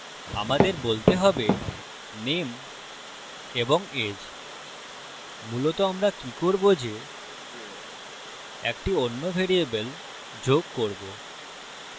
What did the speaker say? আমাদের বলতে হবে name এবং age মূলত আমরা কি করবো যে একটি অন্য ভ্যারিয়েবল যোগ করবো